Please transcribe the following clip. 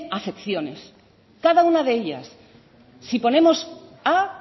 afecciones cada una de ellas si ponemos a